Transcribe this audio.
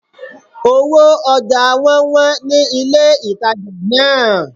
Owó ojà won wón ni ilé ìtajà náà